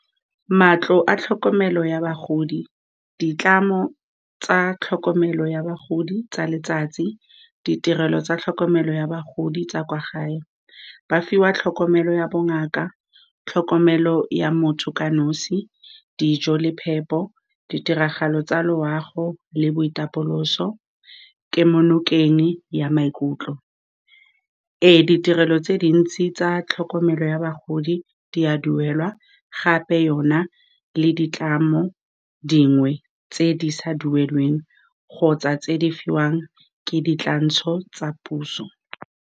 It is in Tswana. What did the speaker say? Matlo a tlhokomelo ya bagodi, ditlamo tsa tlhokomelo ya bagodi tsa letsatsi, ditirelo tsa tlhokomelo ya bagodi tsa kwa gae, ba fiwa tlhokomelo ya bongaka, tlhokomelo ya motho ka nosi, dijo le phepo, ditiragalo tsa loago le boitapoloso, kemo nokeng ya maikutlo. Ee, ditirelo tse dintsi tsa tlhokomelo ya bagodi di a duelwa, gape yona le ditlamo dingwe tse di sa duelelweng kgotsa tse di fiwang ke dikatlantsho tsa puso.